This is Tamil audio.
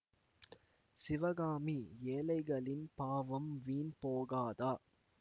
சிவகாமி ஏழைகளின் பாவம் வீண் போகாதா